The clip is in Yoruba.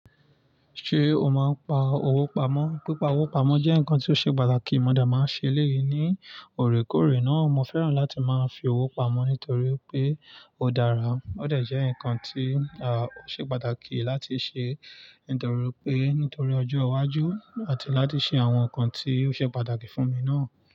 Ṣé o máa ń pa owó pamọ́? Pípá owó pamọ́ jẹ́ nǹkan tí ó ṣe pàtàkì. Mo dẹ̀ máa ń ṣe èléyìí ní òrèkóòrè náà. Mo fẹ́ràn láti máa fi owó pamọ́ nítorí pé ó dára. Ó dẹ̀ jẹ́ nǹkan tí a ṣe pàtàkì láti ṣe, nítorí pé nítorí ọjọ́ iwájú àti láti ṣe àwọn nǹkan tí ó ṣe pàtàkì fún mi náà.